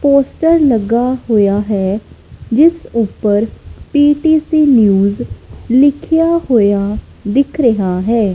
Poster ਲੱਗਾ ਹੋਇਆ ਹੈ ਜਿਸ ਉੱਪਰ ਪੀ_ਟੀ_ਸੀ ਨਿਊਜ ਲਿਖਿਆ ਹੋਇਆ ਦਿੱਖ ਰਹੀਆਂ ਹੈ।